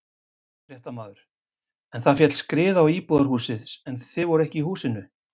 Fréttamaður: En það féll skriða á íbúðarhúsið en þið voruð ekki í húsinu?